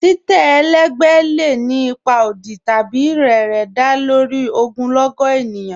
Titẹ́ ẹlẹgbẹ lẹ́ ni ipa ọdì tabi rẹ̀rẹ̀, dá lórí ogunlọ́gọ̀ ènìyàn